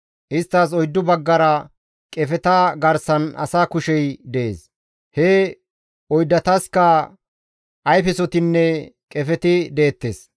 Isttas oyddu baggara qefeta garsan asa kushey dees; he oyddatasikka ayfesotinne qefeti deettes.